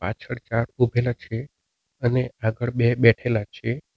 પાછળ ચાર ઉભેલા છે અને આગળ બે બેઠેલા છે.